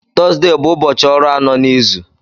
Tọzdee bụ ụbọchị ọrụ anọ n'izu.